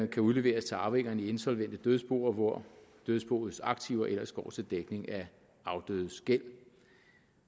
kan udleveres til arvingerne i insolvente dødsboer hvor dødsboets aktiver ellers går til dækning af afdødes gæld